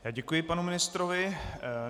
Já děkuji panu ministrovi.